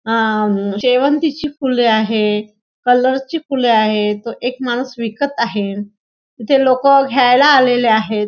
आ म शेवंतीची फुले आहे कलर ची फुले आहे तो एक माणूस विकत आहे इथे लोक घ्यायला आलेले आहेत.